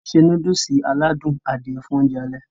ó se núdùsì aládùn Adìẹ fún oúnjẹ alẹ́